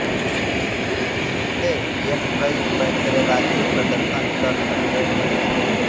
जिससे यह कई पैंतरेबाज़ी प्रदर्शन कर सकती है